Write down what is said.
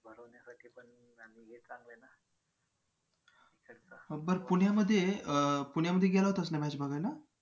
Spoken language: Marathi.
बर पुण्यामध्ये अं पुण्यामध्ये गेला होतास ना match बघायला?